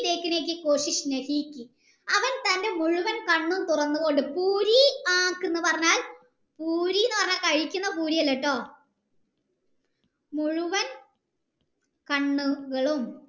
അവൻ തൻ്റെ മുഴുവൻ കണ്ണുകൾ തുറന്ന് കൊണ്ട് എന്ന് പറഞ്ഞാൽ കഴിക്കുന്ന പൂരി അല്ലാട്ടോ മുഴുവൻ കണ്ണുകളും